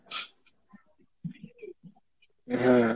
হ্যাঁ।